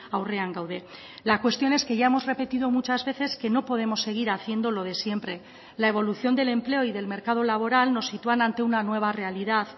aurrean gaude la cuestión es que ya hemos repetido muchas veces que no podemos seguir haciendo lo de siempre la evolución del empleo y del mercado laboral nos sitúan ante una nueva realidad